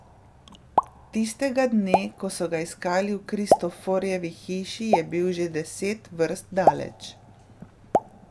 Tistega dne, ko so ga iskali v Kristoforjevi hiši, je bil že deset vrst daleč.